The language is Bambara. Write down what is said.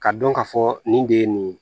Ka dɔn ka fɔ nin de ye nin ye